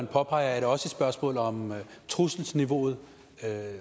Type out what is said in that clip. påpeger er det også et spørgsmål om trusselsniveauet